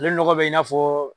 Ale nɔgɔ bɛ i n'a fɔ